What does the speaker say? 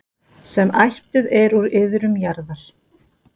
sem ættuð er úr iðrum jarðar.